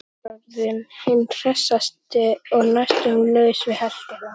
Hann var orðinn hinn hressasti og næstum laus við heltina.